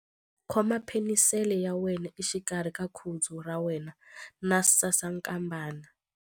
Khoma penisele ya wena exikarhi ka khudzu ra wena na sasankambana.ingana na ya mina.